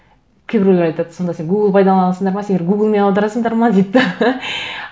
кейбіреулер айтады сонда сен гугл пайдаланасыңдар ма сендер гуглмен аударасыңдар ма дейді де